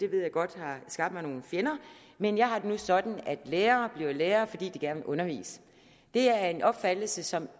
ved jeg godt har skabt mig nogle fjender men jeg har det nu sådan at lærere bliver lærere fordi de gerne vil undervise det er en opfattelse som